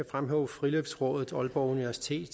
fremhæve friluftsrådet aalborg universitet